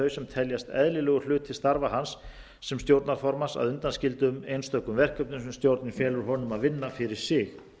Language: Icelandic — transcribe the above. sem teljast eðlilegur hluti starfa hans sem stjórnarformanns að undanskildum einstökum verkefnum sem stjórnin felur honum að vinna fyrir sig